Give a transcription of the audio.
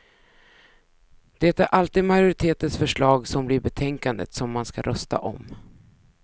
Det är alltid majoritetens förslag som blir betänkandet som man ska rösta om.